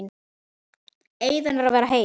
Eyðan er að verða heit.